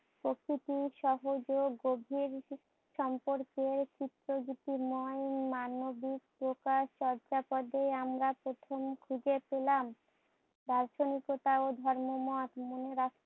প্রকৃতির সহজে গভীর সম্পর্কে চিত্ত গীতিময় মানবিক প্রকাশ চর্যাপদে আমরা প্রথম খুজে পেলা। দার্শনিকতা ও ধর্মমত মনে রাখ